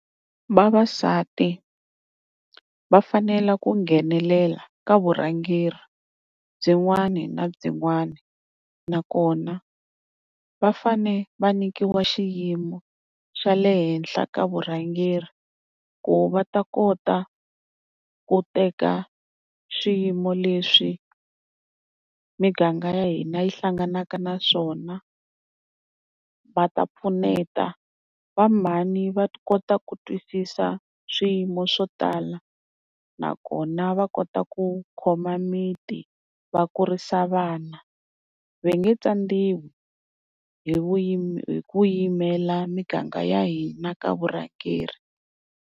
Vavasati va fanele ku nghenelela ka vurhangeri byin'wana na byinwana. Nakona va fane va nyikiwa xiyimo xa le henhla ka vurhangeri, ku va ta kota ku teka swiyimo leswi miganga ya hina yi hlanganaka na swona va ta pfuneta va mhani va kota ku twisisa swiyimo swo tala. Nakona va kota ku khoma miti va kurisa vana va nge tsandziwi hi hi ku yimela miganga ya hina ka vurhangeri.